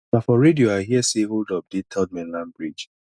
na for radio i hear sey holdup dey third mainland bridge